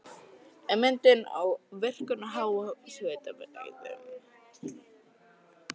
Ummyndun á virkum háhitasvæðum